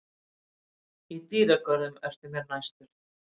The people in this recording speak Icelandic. Í dýragörðum ertu mér næstur.